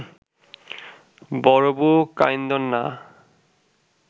বড়বু কাঁইন্দোন না